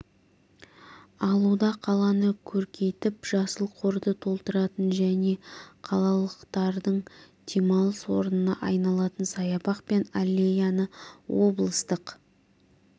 алуда қаланы көркейтіп жасыл қорды толтыратын және қалалықтардың демалыс орнына айналатын саябақ пен аллеяны облыстық